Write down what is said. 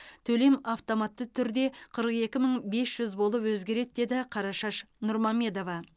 төлем автоматты түрде қырық екі мың бес жүз болып өзгереді деді қарашаш нұрмамедова